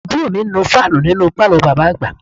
Àbúrò mi ń nu fáànù nínú pálọ̀ bàbá àgbà